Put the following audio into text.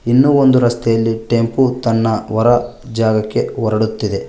ಇನ್ನು ಒಂದು ರಸ್ತೆಯಲ್ಲಿ ಟೆಂಪು ತನ್ನ ಹೊರ ಜಾಗಕ್ಕೆ ಹೊರಡುತ್ತಿದೆ.